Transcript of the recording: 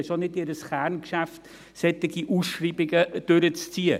Das ist auch nicht ihr Kerngeschäft, solche Ausschreibungen durchzuziehen.